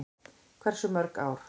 Hversu mörg ár?